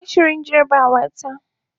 Ina shirin jarabawata.